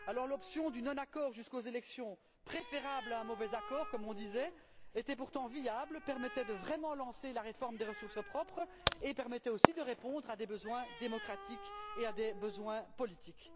L'option du non accord jusqu'aux élections, préférable à un mauvais accord, comme on le disait, était viable, permettait de vraiment lancer la réforme des ressources propres et permettait aussi de répondre à des besoins démocratiques et à des besoins politiques.